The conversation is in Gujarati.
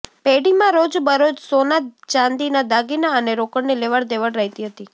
પેઢીમાં રોજ બરોજ સોના ચાંદીના દાગીના અને રોકડની લેવડ દેવડ રહેતી હતી